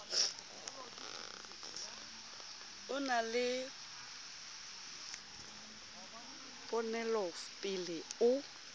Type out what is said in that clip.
o na le ponelopele o